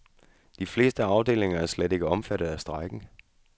De fleste afdelinger er slet ikke omfattet af strejken.